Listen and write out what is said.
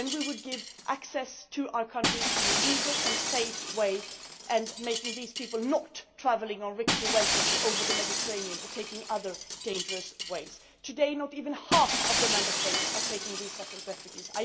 UNHCR. Then we would give access to our countries in a legal and safe way, not making these people travel on rickety vessels across the Mediterranean or taking other dangerous routes. Today, not even half of the Member States are taking resettled refugees.